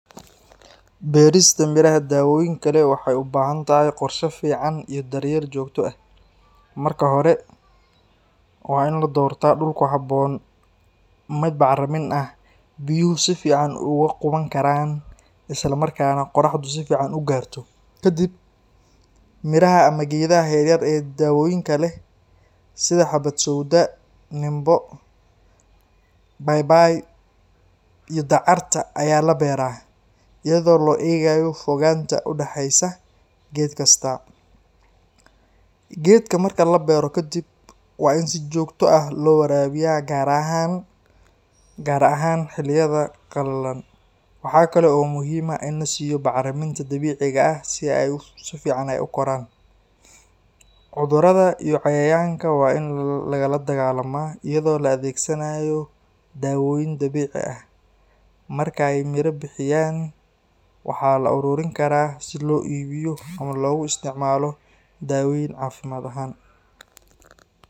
Beerista miraha dawooyinka leh waxay u baahan tahay qorshe fiican iyo daryeel joogto ah. Marka hore, waa in la doortaa dhul ku habboon, mid bacrin ah, biyuhu si fiican uga quban karaan, isla markaana qoraxdu si fiican u gaarto. Kadib, miraha ama geedaha yar yar ee dawooyinka leh sida: xabad sowda, nimbo, paypay, iyo dacar ayaa la beeraa iyadoo loo eegayo fogaanta u dhaxaysa geed kasta. Geedka marka la beero kadib, waa in si joogto ah loo waraabiyaa, gaar ahaan xilliyada qalalan. Waxaa kale oo muhiim ah in la siiyo bacriminta dabiiciga ah si ay si fiican u koraan. Cudurada iyo cayayaanka waa in lala dagaallamaa iyadoo la adeegsanayo dawooyin dabiici ah. Marka ay miro bixiyaan, waxaa la ururin karaa si loo iibiyo ama loogu isticmaalo daaweyn caafimaad ahaan.